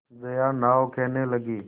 जया नाव खेने लगी